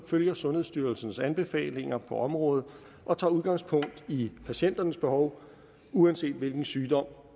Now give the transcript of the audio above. følger sundhedsstyrelsens anbefalinger på området og tager udgangspunkt i patienternes behov uanset hvilken sygdom